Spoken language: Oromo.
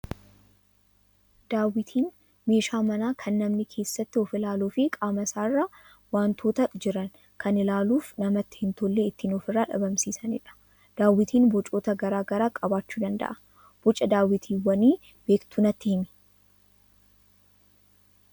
Daawwitiin meeshaa manaa kan namni keessatti of ilaaluu fi qaama isaarra wantoota jiran kan ilaaluuf namatti hin tolle ittiin ofirraa dhabamsiisanidha. Daawwitiin bocoota garaagaraa qabaachuu danda'a. Boca daawwitiiwwanii beektuu natti himi?